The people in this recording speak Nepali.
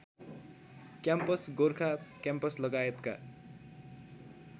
क्याम्पस गोरखा क्याम्पसलगायतका